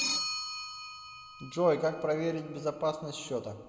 джой как проверить безопасность счета